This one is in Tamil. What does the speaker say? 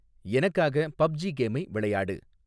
எனக்காக பப்ஜி கேமை விளையாடு